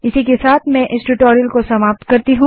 इसी के साथ मैं इस ट्यूटोरियल को समाप्त करती हूँ